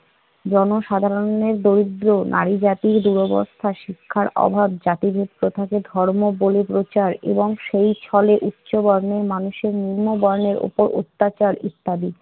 জনসাধারণের দরিদ্র নারী জাতির দুরবস্থা, শিক্ষার অভাব, জাতিভেদ প্রথাকে ধর্ম বলে প্রচার এবং সেই ছলে উচ্চবর্ণের মানুষের নিম্ন বর্ণের উপর অত্যাচার ইত্যাদি।